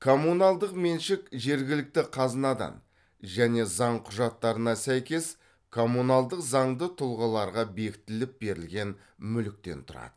коммуналдық меншік жергілікті қазынадан және заң құжаттарына сәйкес коммуналдық заңды тұлғаларға бекітіліп берілген мүліктен тұрады